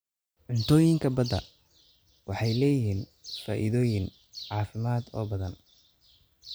Cuntooyinka badda waxay leeyihiin faa'iidooyin caafimaad oo badan.